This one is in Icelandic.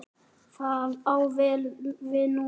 Það á vel við núna.